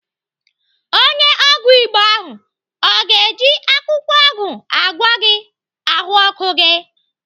Onye ọgwụ Igbo ahụ ọ ga-eji akwụkwọ ọgwụ agwọ gị ahụọkụ gị?